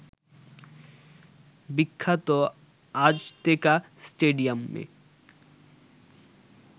বিখ্যাত আজতেকা স্টেডিয়ামে